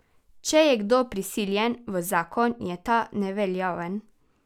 Če je kdo prisiljen v zakon, je ta neveljaven.